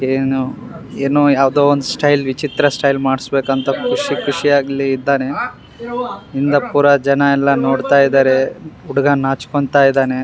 ಏನೊ ಎನೋ ಯಾವ್ದೋ ಒಂದು ಸ್ಟೈಲ್ ವಿಚಿತ್ರ ಸ್ಟೈಲ್ ಮಾಡ್ಸ್ಬೇಕಂತ ಖುಷಿ ಖುಷಿ ಯಾಗ್ ಇದ್ದಾನೆ ಹಿಂದೆ ಪೂರ ಜನ ಎಲ್ಲ ನೋಡ್ತಾ ಇದ್ದಾರೆ ಹುಡುಗ ನಾಚ್ಕೊಂತಾ ಇದ್ದಾನೆ.